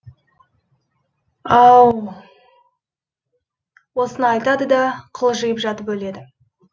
ау у осыны айтады да қылжиып жатып өледі